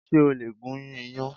Ṣé o lè gún iyàn